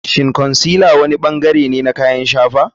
Shin concealer wani bangare ne na kayan shafawa?